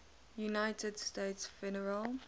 united states federal